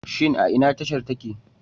Shin a ina tashar take?